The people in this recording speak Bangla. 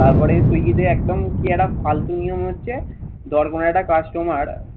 তারপরে তুই যদি একদম কি একটা ফালতু নিয়ম হচ্ছে ধর কোনো একটা customer